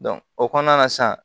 o kɔnɔna na sa